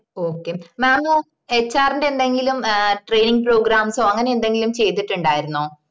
okay mamhr ന്റെ എന്തെങ്കിലും a training programmes or അങ്ങനെ എന്തെങ്കിലും ചെയ്‌തിട്ടുണ്ടായിരുന്നോ